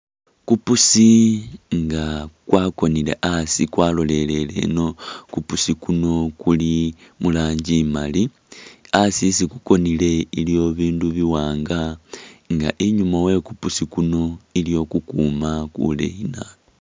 Kupusi nga kwakonele asi kwa’lolelele ino kupusi kuno kuli mu rangi imali asi isi kukonele iliwo bindu biwanga nga inyuma we kupusikuno iliyo kukuma kuleyi nabi .